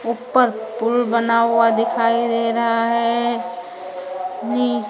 ऊपर पुल बना हुआ दिखाई दे रहा है नि--